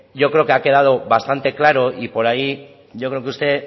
yo creo que ha quedada bastante claro y por ahí yo creo que usted